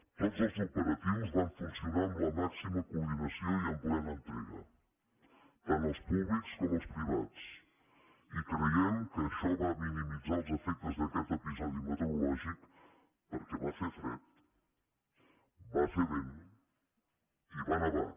tots els operatius van funcionar amb la màxima coordinació i amb plena entrega tant els públics com els privats i creiem que això va minimitzar els efectes d’a quest episodi meteorològic perquè va fer fred va fer vent i va nevar